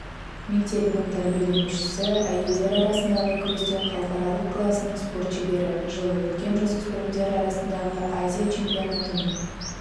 мектебінің тәрбиеленушісі әйелдер арасындағы күрестен халықаралық класының спорт шебері жылы өткен жасөспірімдер арасындағы азия чемпионатының